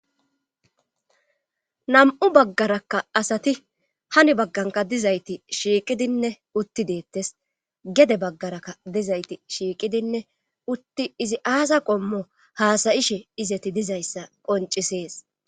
Nam7u baggarakka asati hani baggankka dizayti shiiqidinne utti deetes gede baggarakka dizayti shiiqidinne utti izi aaza qommo izati haasayishe dizayssa qonccisees.